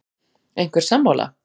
Einhver sammála?